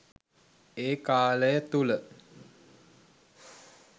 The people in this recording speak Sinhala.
ඒ කාලය තුළ